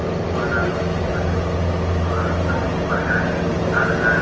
दौरे वाला मशीन हटे एह पर अनेको प्रकार के लोग आवेला।